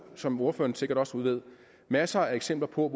som ordføreren sikkert også ved masser af eksempler på